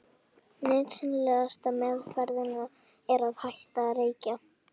Nauðsynlegasta meðferðin er að hætta að reykja.